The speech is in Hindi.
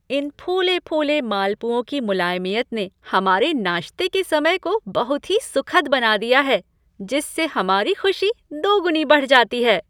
इन फूले फूले मालपुओं की मुलायमियत ने हमारे नाश्ते के समय को बहुत ही सुखद बना दिया है जिससे हमारी खुशी दोगुनी बढ़ जाती है।